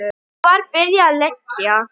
Svo var byrjað að leggja.